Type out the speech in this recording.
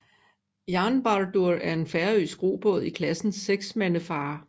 Jarnbardur er en færøsk robåd i klassen seksmandefarer